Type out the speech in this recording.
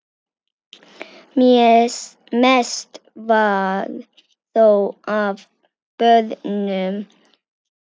Mest var þó af börnum.